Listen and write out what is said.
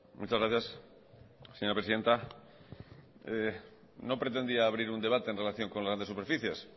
muchas gracias señora presidenta no pretendía abrir un debate en relación con las grandes superficies